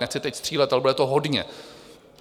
Nechci teď střílet, ale bude to hodně.